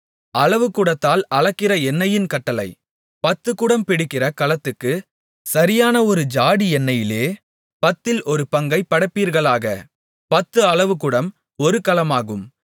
அளவுகுடத்தால் அளக்கிற எண்ணெயின் கட்டளை பத்துக்குடம் பிடிக்கிற கலத்துக்குச் சரியான ஒரு ஜாடி எண்ணெயிலே பத்தில் ஒரு பங்கைப் படைப்பீர்களாக பத்து அளவுகுடம் ஒரு கலமாகும்